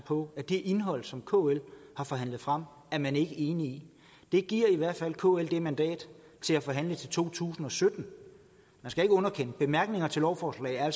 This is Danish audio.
på at det indhold som kl har forhandlet frem er man ikke enig i det giver i hvert fald kl et mandat til at forhandle til to tusind og sytten man skal ikke underkende bemærkninger til lovforslag og